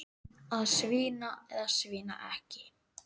Að svína eða svína ekki.